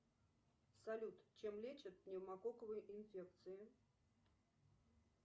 салют чем лечат пневмококковую инфекцию